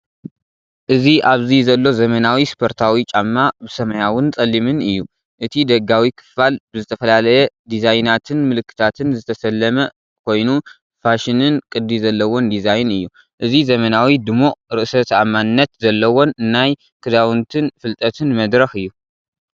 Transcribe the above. እዚ ኣብዚ ዘሎ ዘመናዊ ስፖርታዊ ጫማ ብሰማያውን ጸሊምን እዩ። እቲ ደጋዊ ክፋል ብዝተፈላለየ ዲዛይናትን ምልክታትን ዝተሰለመ ኮይኑ፣ ፋሽንን ቅዲ ዘለዎን ዲዛይን እዩ። እዚ ዘመናዊ፡ ድሙቕን ርእሰ ተኣማንነት ዘለዎን ናይ ክዳውንትን ፍልጠትን መድረኽ አዩ።